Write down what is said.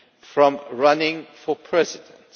from running for President.